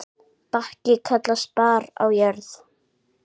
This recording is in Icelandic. Bakki kallast barð á jörð.